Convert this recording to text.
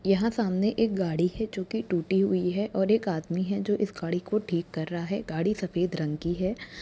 यहाँ सामने एक गाडी है जोकि टूटी हुई है और एक आदमी है जो इस गाडी को ठीक कर रहा है गाड़ी सफ़ेद रंग की है।